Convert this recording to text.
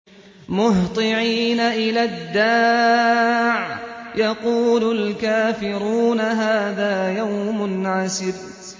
مُّهْطِعِينَ إِلَى الدَّاعِ ۖ يَقُولُ الْكَافِرُونَ هَٰذَا يَوْمٌ عَسِرٌ